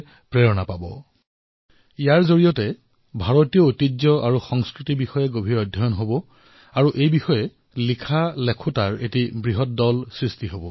দেশত বৃহৎ সংখ্যাত এনে বিষয়ত লেখা লেখকৰ সৃষ্টি হব যাৰ ভাৰতৰ ঐতিহ্য আৰু সংস্কৃতিৰ ওপৰত গভীৰ অধ্যয়ন থাকিব